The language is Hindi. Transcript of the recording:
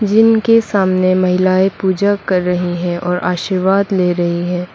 जिन के सामने महिलाएं पूजा कर रही हैं और आशीर्वाद ले रही हैं।